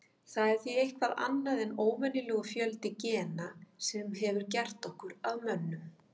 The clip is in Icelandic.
Það er því eitthvað annað en óvenjulegur fjöldi gena sem hefur gert okkur að mönnum.